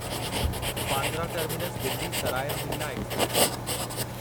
Bandra terminus Delhi Sarai Rohilla express